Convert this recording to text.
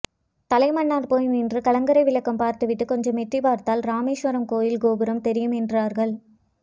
தலைமன்னார் போய் நின்று கலங்கரை விளக்கம் பார்த்துவிட்டுக் கொஞ்சம் எட்டிப் பார்த்தால் ராமேஸ்வரம் கோயில் கோபுரம் தெரியும் என்றார்கள்